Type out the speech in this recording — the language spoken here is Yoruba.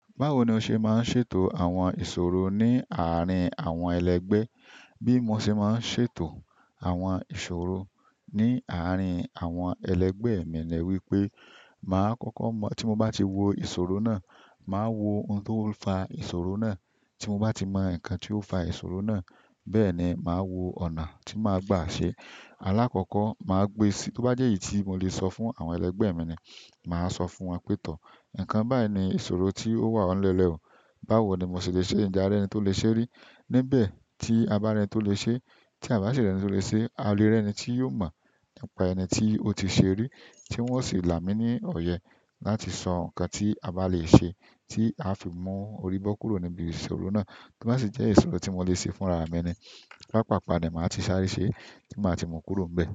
Báwo ni o ṣe máa ń ṣètò àwọn ìṣòro ní àárín àwọn ẹlẹgbẹ́? Bí mo ṣe máa ń ṣètò àwọn ìṣòro ní àárín àwọn ẹlẹgbẹ́ mi ni wípé màá kọ́kọ́ mọ̀ tí mo bá ti wo ìṣòro náà, màá wo ohun tó ń fa ìṣòro náà. Tí mo bá ti mọ nǹkan tí ó ń fa ìṣòro náà, bẹ́ẹ̀ ni màá wo ọ̀nà tí màá gbà ṣe. Alákọ̀ọ́kọ́ màá gbe sí-- tó bá jẹ́ èyí tí mo lè sọ fún àwọn ẹlẹgbẹ́ mi ni, màá sọ fún wọn pé, "Tọ̀, nǹkan báyìí ni ìṣòro tí ó wà n lẹ́lẹ̀ ọ̀. Báwo ni mo ṣe lè ṣe é, njẹ́ a rí ẹni tí ó lè ṣe rí?" Nibẹ̀ tí a bá rí ẹni tí ó lè ṣe é, tí a bá ṣe ri ẹni to le ṣe é, a le rí ẹni tí yóò mọ̀ nípa ẹni tí ó ti ṣe rí, tí wọ́n ó sì là mí ní ọ̀yẹ́ láti sọ nǹkan tí a bá lè ṣe tí a fi mu oríbọ kúrò níbi ìṣòro náà. L. To ba si jẹ́ ìṣòro tí mo lè ṣe fúnra mi ni. Paapaapa ni maa ti sáré se ti ma ti mu kúrò nbẹ.